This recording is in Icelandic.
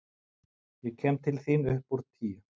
Ég kem til þín upp úr tíu.